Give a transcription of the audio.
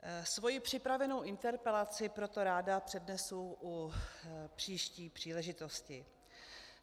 Svoji připravenou interpelaci proto ráda přednesu při příští příležitosti.